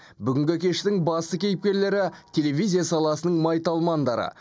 бүгінгі кештің басты кейіпкерлері телевизия саласының майталмандары